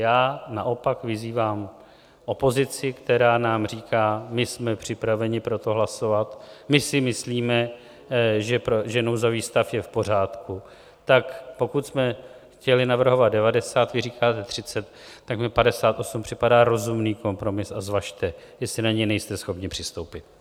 Já naopak vyzývám opozici, která nám říká: my jsme připraveni pro to hlasovat, my si myslíme, že nouzový stav je v pořádku - tak pokud jsme chtěli navrhovat 90, vy říkáte 30, tak mi 58 připadá rozumný kompromis a zvažte, jestli na něj nejste schopni přistoupit.